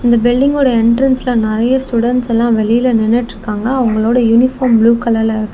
இந்த பில்டிங்ஓட என்டிரென்ஸ்ல நெறையா ஸ்டுடென்ட்ஸ் எல்லா வெளில நின்னுட்டு இருக்காங்க அவங்களோட யூனிபார்ம் ப்ளூ கலர்ல இருக்--